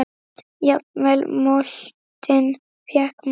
Jafnvel moldin fékk mál.